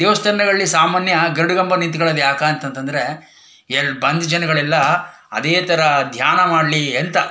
ದೇವಸ್ಥಾನದ್ಗಳ್ಳಿ ಸಾಮಾನ್ಯ ಗರಡುಗಂಭ ನಿಂತ್ಕಳದು ಯಾಕೆ ಅಂತಾಂದ್ರೆ ಎರಡ್- ಬಂದ್ ಜನಗಳೆಲ್ಲ ಅದೇ ತರಹ ಧ್ಯಾನ ಮಾಡ್ಲಿ ಅಂತ.